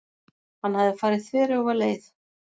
Hann hafði farið þveröfuga leið.